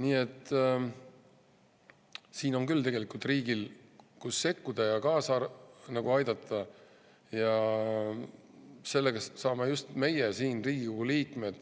Nii et riigil on tegelikult küll kohti, kus sekkuda ja kaasa aidata, ja sellega saame just meie siin, Riigikogu liikmed,